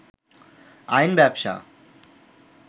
আইন ব্যবসা